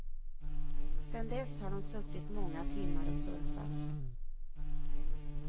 Sedan dess har de suttit många timmar och surfat.